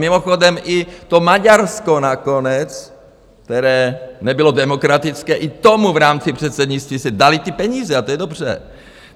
Mimochodem i to Maďarsko nakonec, které nebylo demokratické, i tomu v rámci předsednictví se daly ty peníze - a to je dobře.